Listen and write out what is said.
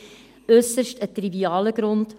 Es ist ein äusserst trivialer Grund: